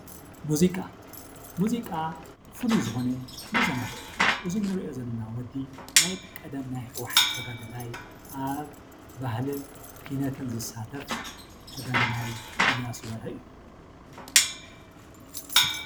ሙዚቃ፣ ሙዚቃ ፍሉይ ዝኾነ መ Hናግዒ እዩ። እዚ እንሪኦ ዘለና ወዲ ናይ ቀደም ናይ ህውሓት ተጋዳላይ ኣብ ናይ ባህሊን ኪነትን ዝሳተፍ ተጋዳላይ ኢያሱ በርሀ እዩ።